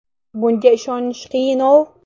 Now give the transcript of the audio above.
Bunga ishonish qiyin-ov.